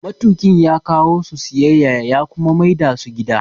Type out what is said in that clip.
Matuƙin ya kawo su siyayya ya kuma maida su gida